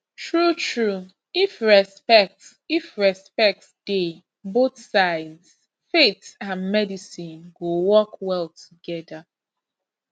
truetrue if respect if respect dey both sides faith and medicine go work well together